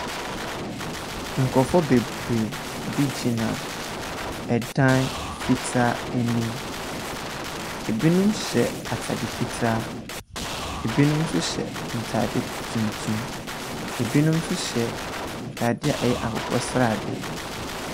Nkurɔfoɔ bebree bi gyina dan fitaa anim. Binom hyɛ atade fitaa. Binom nso hyɛ ntade tuntum. Binom nso hyɛ ntadeɛ a ɛyɛ akokɔsradeɛ.